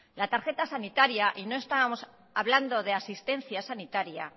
la tarjeta sanitaria y estamos hablando de asistencia sanitaria